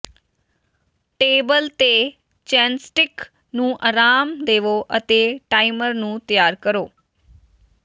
table ਤੇ ਚੇਨਸਟਿਕ ਨੂੰ ਆਰਾਮ ਦੇਵੋ ਅਤੇ ਟਾਈਮਰ ਨੂੰ ਤਿਆਰ ਕਰੋ